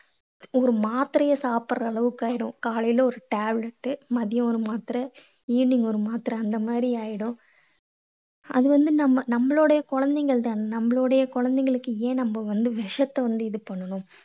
ஒரு மாத்திரையை சாப்பிடற அளவுக்கு ஆயிடும். காலைல ஒரு tablet மதியம் ஒரு மாத்திரை evening ஒரு மாத்திரை அந்த மாதிரி ஆயிடும். அது வந்து நம்ம நம்மளுடைய குழந்தைகள் தானே. நம்மளுடைய குழந்தைகளுக்கு ஏன் நம்ம விஷத்தை வந்து இது பண்ணணும்?